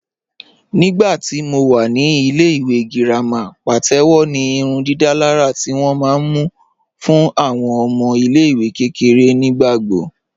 Nígbàtí mó wà ní ilẹ̀-ìwé gíràmà pàtẹwò ní ìrùndìdàlàrà tí wọn ma mú fún awọn ọmọ ilẹ̀-ìwé kẹkẹ̀rẹ̀ nígbàgbọ̀